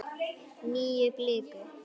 Nýja bliku.